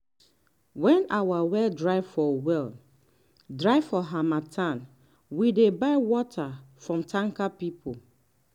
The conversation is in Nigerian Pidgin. when our well dry for well dry for harmattan we dey buy water from tanker people.